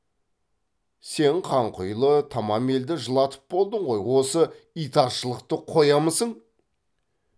сен қанқұйлы тамам елді жылатып болдың ғой осы итаршылықты қоямысың